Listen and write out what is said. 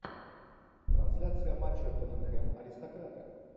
трансляция матча тоттенхэм аристократы